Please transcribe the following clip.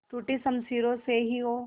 टूटी शमशीरों से ही हो